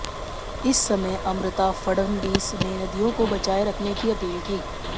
इस समय अमृता फडनवीस ने नदियों को बचाएं रखने की अपील की